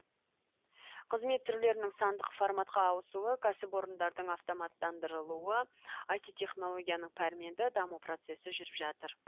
қызмет түрлерінің сандық форматқа ауысуы кәсіпорындардың автоматтандырылуы айти технологияның пәрменді даму процесі жүріп жатыр